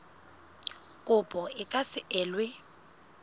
kopo e ka se elwe